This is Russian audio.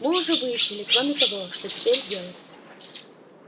мы уже выяснили кроме того что теперь делать